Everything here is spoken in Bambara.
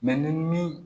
ni min